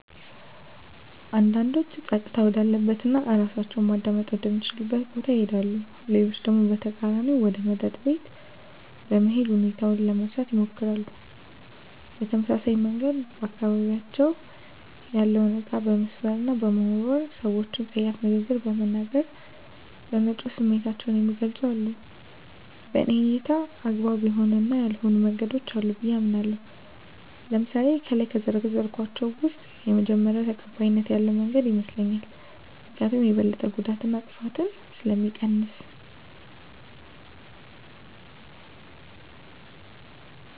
አንዳንዶች ፀጥታ ወዳለበት እና እራሳቸውን ማዳመጥ ወደ ሚችሉበት ቦታ ይሄዳሉ። ሌሎች ደግሞ በተቃራኒው ወደ መጠጥ ቤት በመሄድ ሁኔታውን ለመርሳት ይሞክራሉ። በተመሳሳይ መንገድ በአካባቢያቸው ያለውን እቃ በመስበር እና በመወርወር፣ ሰወችን ፀያፍ ንግግር በመናገር፣ በመጮህ ስሜታቸውን የሚገልፁም አሉ። በኔ እይታ አግባብ የሆኑ እና ያልሆኑ መንገዶች አሉ ብየ አምናለሁ። ለምሳሌ ከላይ ከዘረዘርኳቸው ውስጥ የመጀመሪው ተቀባይነት ያለው መንገድ ይመስለኛል። ምክኒያቱም የበለጠ ጉዳትን እና ጥፋትን ስለሚቀንስ።